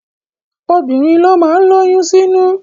Obìnrin ló má ń lóyún sínú